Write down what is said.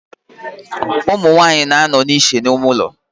Umunwanyi na-ano iche n'ime ulo.